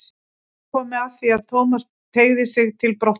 Það var komið að því að Thomas tygjaði sig til brottfarar.